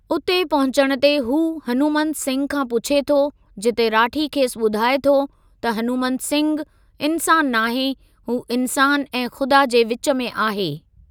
उते पहुचण ते हू हनुमंत सिंघ खां पुछे थो जिते राठी खेसि ॿुधाए थो त हनुमंत सिंघु इन्सानु नाहे हू इन्सानु ऐं ख़ुदा जे विचु में आहे।